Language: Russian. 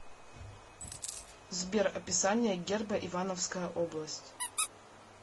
сбер описание герба ивановская область